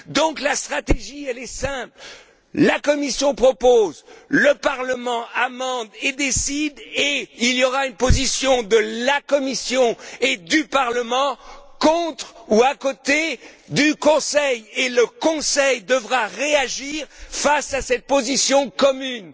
Donc, la stratégie est simple, la Commission propose, le Parlement amende et décide et il y aura une position de la Commission et du Parlement contre ou à côté du Conseil, et le Conseil devra réagir face à cette position commune.